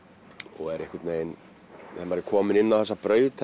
og er einhvern veginn þegar maður er kominn inn á þessa braut